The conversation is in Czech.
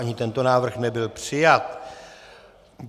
Ani tento návrh nebyl přijat.